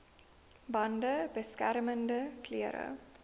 bande beskermende klere